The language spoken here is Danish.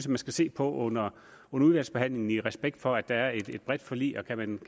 man skal se på under udvalgsbehandlingen i respekt for at der er et bredt forlig og kan man